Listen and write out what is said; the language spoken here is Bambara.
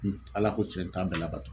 Ni Ala ko cɛn n t'a bɛɛ labato